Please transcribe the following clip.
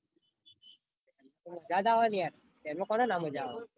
મજા જ આવે ને યાર train માં કોણે ના મજા આવે.